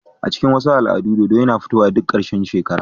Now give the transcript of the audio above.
A cikin wasu al'adu, dodo yana fitowa duk ƙarshen shekara.